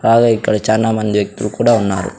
బాగా ఇక్కడ చానా మంది వ్యక్తులు కూడా ఉన్నారు.